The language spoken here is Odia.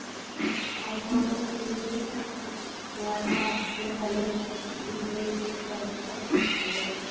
ଆଉ କ'ଣ ମୁଁ ଶୁଣୁଥିଲି ନା ନୂଆ ଆସିଲେ collage |